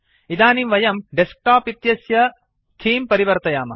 इदानीं वयं डेस्क्टोप् इत्यस्य थीम् परिवर्तयामः